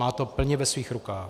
Má to plně ve svých rukou.